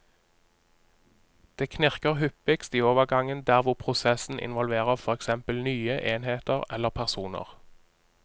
Det knirker hyppigst i overgangen der hvor prosessen involverer for eksempel nye enheter eller personer.